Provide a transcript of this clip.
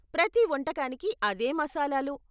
ప్రతి వంటకానికి అదే మసాలాలు.